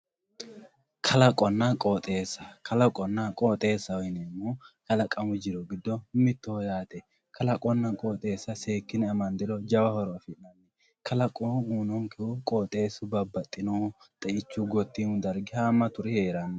kalaqonna qooxeessa kalaqonna qooxeessa yineemmohu kalaqamu jiro giddo mittoho yaate kalaqonna qooxeessa seekkine amandiro jawa horo afi'nanni kalaqo uyinonkehu qooxeessu babbaxinohu xeichu gotiimu dargi haammaturi heeranno